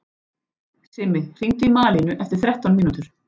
Simmi, hringdu í Malínu eftir þrettán mínútur.